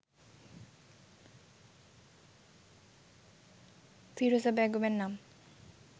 ফিরোজা বেগমের নাম